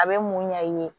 A bɛ mun ɲa i ye